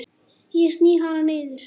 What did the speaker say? Ég sný hana niður.